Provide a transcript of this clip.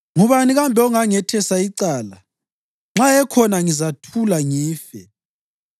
Ngubani kambe ongangethesa icala? Nxa ekhona, ngizathula ngife.